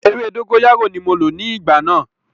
Ewé dógóyárò ní mo lò ní ìgbà náà.